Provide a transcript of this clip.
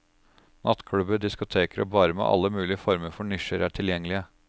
Nattklubber, diskoteker og barer med alle mulige former for nisjer er tilgjengelige.